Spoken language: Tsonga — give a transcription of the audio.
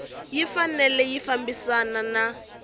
yi fanele yi fambisana na